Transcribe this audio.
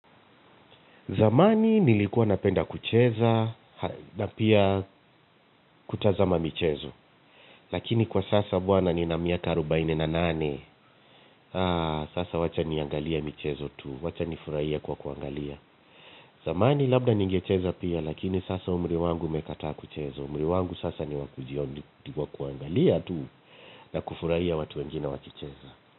Zamani nilikuwa napenda kucheza na pia kutazama michezo, lakini kwa sasa bwana ni na miaka arobaini na nane, sasa wacha niangalie michezo tu, wacha nifurahie kwa kuangalia. Zamani labda ningecheza pia lakini sasa umri wangu umekata kuchezo, umri wangu sasa ni wakujiondi kwa kuangalia tu na kufurahia watu wengine wakicheza.